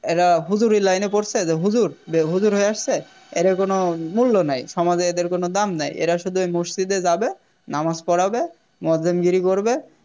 এরা হুজুরের Line এ পড়ছে যে হুজুর যে হুজুর এসেছে এদের কোন মূল্য নাই সমাজে এদের কোন দাম নাই এরা শুধু ওই মসজিতে যাবে নামাজ পোড়াবে করবে